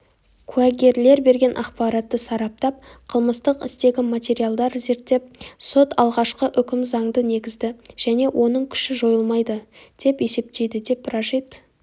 куәгерлер берген ақпаратты сараптап қылмыстық істегі материалдар зерттеп сот алғашқы үкім заңды негізді және оның күші жойылмайды деп есептейді деп рашид